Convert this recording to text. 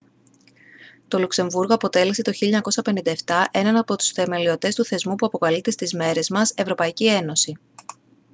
το λουξεμβούργο αποτέλεσε το 1957 έναν από τους θεμελιωτές του θεσμού που αποκαλείται στις μέρες μας εε